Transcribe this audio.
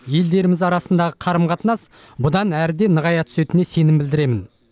елдеріміз арасындағы қарым қатынас бұдан әрі де нығая түсетініне сенім білдіремін